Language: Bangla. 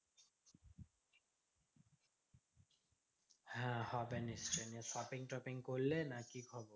হ্যাঁ হবে নিশ্চই নিয়ে shopping টপিং করলে নাকি?